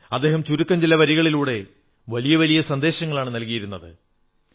അദ്ദേഹം ചുരുക്കം ചില വരികളിലൂടെ വലിയ വലിയ സന്ദേശങ്ങളാണ് നല്കിയിരുന്നത്